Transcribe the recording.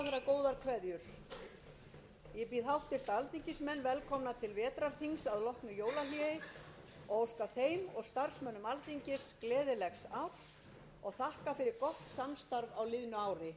á liðnu ári ég get ekki annað en lýst sérstakri ánægju með þann góða samstarfsanda sem einkenndi störf alþingis á haustþinginu þingmenn eiga allir þakkir skildar fyrir að hafa lagt sitt af mörkum